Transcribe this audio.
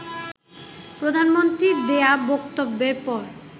প্রধানমন্ত্রীর দেয়া বক্তব্যের পর